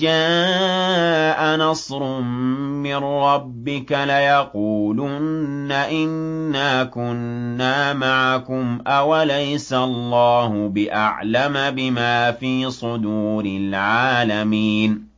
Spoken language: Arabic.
جَاءَ نَصْرٌ مِّن رَّبِّكَ لَيَقُولُنَّ إِنَّا كُنَّا مَعَكُمْ ۚ أَوَلَيْسَ اللَّهُ بِأَعْلَمَ بِمَا فِي صُدُورِ الْعَالَمِينَ